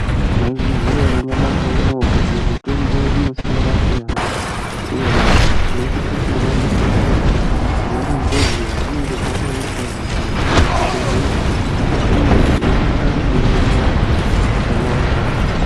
Mwai zviziya ere nyamashi unou kuti mutombo inosiyana siyana uye tinosise kumwe mutombo sema ronzererwe arinenge rakaitwa mukati mwezvi bhedhleya uye tinosisa kuimwa zvakanaka